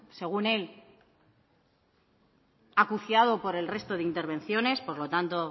según él acuciado por el resto de intervenciones por lo tanto